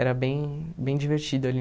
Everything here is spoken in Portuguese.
Era bem bem divertido ali